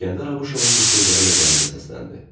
İsgəndər Abuşovun bu sözləri də qəribə səsləndi.